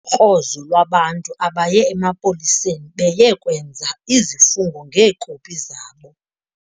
krozo lwabantu abaye emapoliseni beye kwenza izifungo ngeekopi zabo.